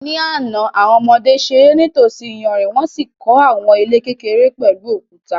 Ní àná, àwọn ọmọdé ṣeré nítòsí iyanrìn wọ́n sì kọ́ àwọn ilé kékeré pẹ̀lú òkúta.